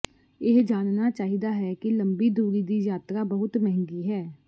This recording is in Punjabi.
ਇਹ ਜਾਣਨਾ ਚਾਹੀਦਾ ਹੈ ਕਿ ਲੰਬੀ ਦੂਰੀ ਦੀ ਯਾਤਰਾ ਬਹੁਤ ਮਹਿੰਗੀ ਹੈ